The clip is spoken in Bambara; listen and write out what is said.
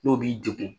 N'o b'i degun